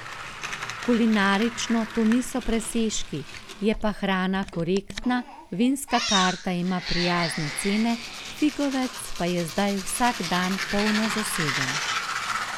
Kulinarično to niso presežki, je pa hrana korektna, vinska karta ima prijazne cene, Figovec pa je zdaj vsak dan polno zaseden.